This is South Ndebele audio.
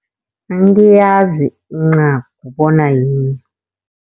Angiyazi incagu bona yini.